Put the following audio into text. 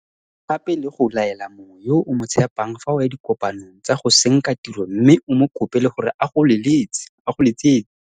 O tlhoka gape le go laela mongwe yo o mo tshepang fa o ya dikopanong tsa go senka tiro mme o mo kope le gore a go letsetse